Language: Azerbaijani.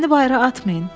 Məni bayıra atmayın.